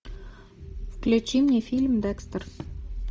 включи мне фильм декстер